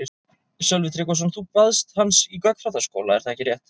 Sölvi Tryggvason: Þú baðst hans í gagnfræðaskóla er það ekki rétt?